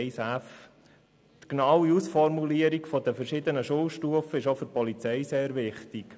Die genaue Ausformulierung der verschiedenen Schulstufen ist auch für die Polizei sehr wichtig.